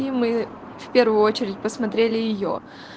и мы в первую очередь посмотрели её